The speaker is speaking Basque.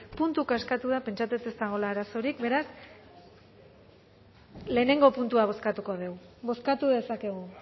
puntuka eskatu da pentsatzen dut ez dagoela arazorik beraz lehenengo puntua bozkatuko dugu bozkatu dezakegu